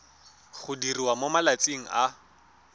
go diriwa mo malatsing a